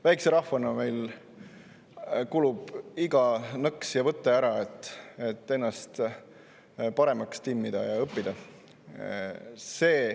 Väikese rahvana kulub meile ära iga nõks ja võte, et ennast paremaks timmida ja õppida.